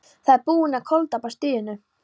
Þið eruð búnir að koltapa stríðinu!